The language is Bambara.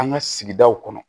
An ka sigidaw kɔnɔ